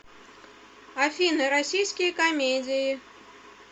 афина российские камедии